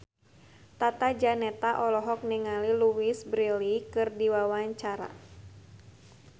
Tata Janeta olohok ningali Louise Brealey keur diwawancara